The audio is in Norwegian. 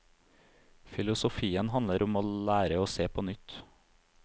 Filosofien handler om å lære å se på nytt.